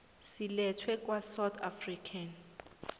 silethwe kwasouth african